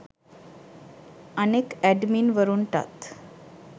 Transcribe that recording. අනෙක් ඇඩ්මින් වරුන්ටත්